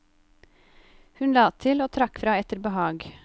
Hun la til og trakk fra etter behag.